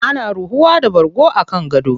Ana ruhuwa da bargo a kan gado.